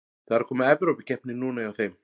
Það er að koma Evrópukeppni núna hjá þeim.